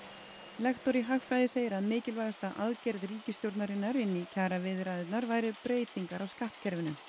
lektor í hagfræði segir að mikilvægasta aðgerð ríkisstjórnarinnar inn í kjaraviðræðurnar væru breytingar á skattkerfinu